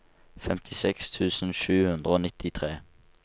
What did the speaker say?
femtiseks tusen sju hundre og nittitre